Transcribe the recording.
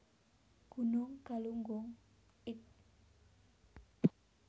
Gunung Galunggung id